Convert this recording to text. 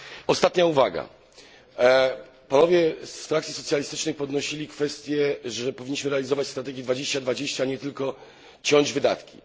Ostatnia uwaga panowie z frakcji socjalistycznej podnosili kwestię, że powinniśmy realizować strategię 2020, a nie tylko ciąć wydatki.